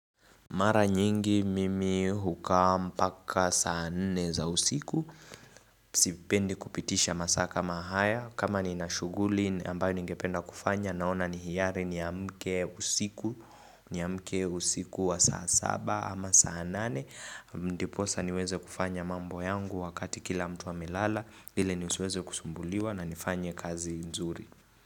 Mara nyingi mimi hukaa mpaka saa nne za usiku Sipendi kupitisha masaa kama haya. Kama ninashuguli ambayo ningependa kufanya Naona ni hiari niamke usiku. Niamke usiku wa saa saba ama saa nane Ndiposa niweze kufanya mambo yangu wakati kila mtu amelala ili nisiweze kusumbuliwa na nifanye kazi nzuri.